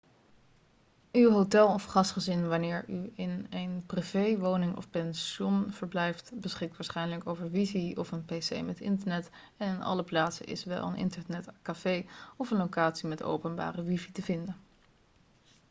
uw hotel of gastgezin wanneer u in een privéwoning of pension verblijft beschikt waarschijnlijk over wifi of een pc met internet en in alle plaatsen is wel een internetcafé of een locatie met openbare wifi te vinden